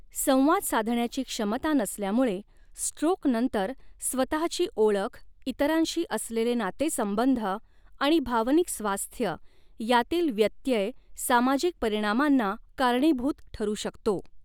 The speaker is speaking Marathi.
संवाद साधण्याची क्षमता नसल्यामुळे स्ट्रोक नंतर स्वतहाची ओळख, इतरांशी असलेले नातेसंबंध आणि भावनिक स्वास्थ्य यांतील व्यत्यय सामाजिक परिणामांना कारणीभूत ठरू शकतो.